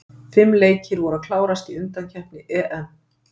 Fimm leikir voru að klárast í undankeppni EM.